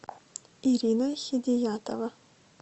ирина хидиятова